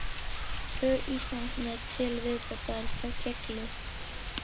Tvö Íslandsmet til viðbótar féllu